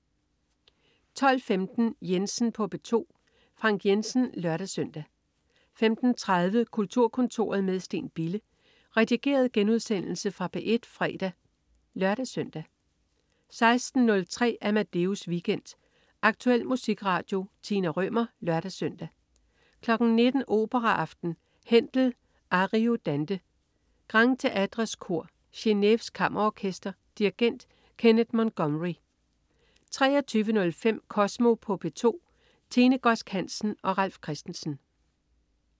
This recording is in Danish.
12.15 Jensen på P2. Frank Jensen (lør-søn) 15.30 Kulturkontoret med Steen Bille. Redigeret genudsendelse fra P1 fredag (lør-søn) 16.03 Amadeus Weekend. Aktuel musikradio. Tina Rømer (lør-søn) 19.00 Operaaften. Händel: Ariodante. Grand Théätres Kor. Geneves Kammerorkester. Dirigent: Kenneth Montgomery 23.05 Kosmo på P2. Tine Godsk Hansen og Ralf Christensen